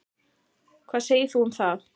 Hvað segir þú um það?